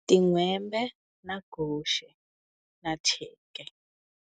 Tinhwembe na guxe na thyeka.